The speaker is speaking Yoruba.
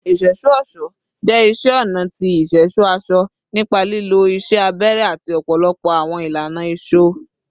Iṣẹṣọ-ọṣọ jẹ iṣẹ ọna ti iṣẹṣọ aṣọ nipa lilo iṣẹ abẹrẹ ati ọpọlọpọ awọn ilana isọ